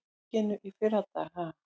Í þinginu í fyrradag ha?